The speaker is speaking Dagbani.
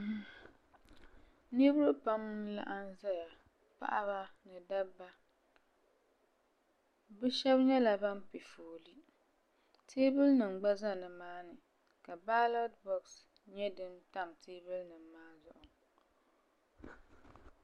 Niriba pam n laɣim zaya paɣaba ni dabba bi shɛba nyɛla bini pɛ foole tɛɛbuli nima gba za nimaa ni ka balɔti bɔɣisi nyɛ dini tam tɛɛbuli nima maa zuɣu.